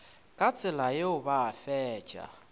ka tsela yeo ba fetša